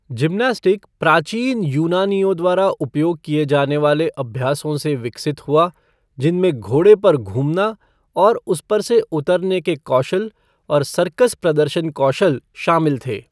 Gymnastic प्राचीन यूनानियों द्वारा उपयोग किए जाने वाले अभ्यासों से विकसित हुआ जिनमे घोड़े पर घूमना और उस पर से उतरने के कौशल और सर्कस प्रदर्शन कौशल शामिल थे।